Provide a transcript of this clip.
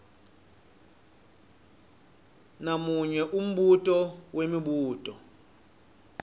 namunye umbuto wemibuto